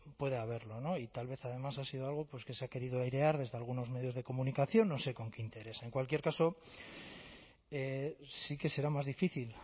puede haberlo no y tal vez además ha sido algo pues que se ha querido airear desde algunos medios de comunicación no sé con qué interés en cualquier caso sí que será más difícil